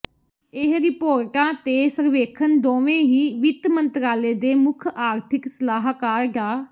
ਇਹ ਰਿਪੋਰਟਾਂ ਤੇ ਸਰਵੇਖਣ ਦੋਵੇਂ ਹੀ ਵਿੱਤ ਮੰਤਰਾਲੇ ਦੇ ਮੁੱਖ ਆਰਥਿਕ ਸਲਾਹਕਾਰ ਡਾ